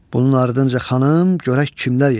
Bunun ardınca xanım görək kimlər yetişdi.